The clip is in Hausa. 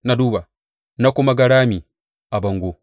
Na duba, na kuma ga rami a bango.